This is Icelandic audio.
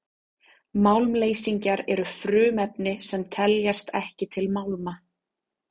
málmleysingjar eru frumefni sem teljast ekki til málma